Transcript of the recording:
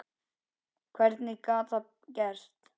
Hvernig gat það gerst?